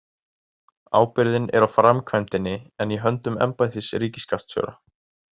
Ábyrgðin á framkvæmdinni er í höndum embættis ríkisskattstjóra.